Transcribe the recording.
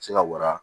Se ka wara